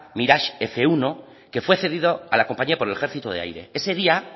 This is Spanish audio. mirage f uno que fue cedido a la compañía por el ejercito de aire ese día